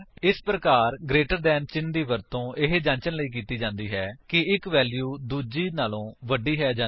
ਇਸ ਪ੍ਰਕਾਰ greater than ਚਿੰਨ੍ਹ ਦਾ ਵਰਤੋ ਇਹ ਜਾਂਚਣ ਲਈ ਕੀਤੀ ਜਾਂਦਾ ਹੈ ਕਿ ਇੱਕ ਵੈਲਿਊ ਦੂੱਜੇ ਤੋਂ ਵੱਡੀ ਹੈ ਜਾਂ ਨਹੀਂ